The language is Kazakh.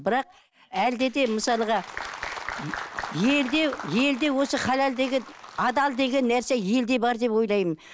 бірақ әлде де мысалға елде елде осы халал деген адал деген нәрсе елде бар деп ойлаймын